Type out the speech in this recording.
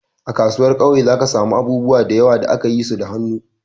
A kasuwar kauye za ka samu abubuwa da yawa da aka yi su da hannu.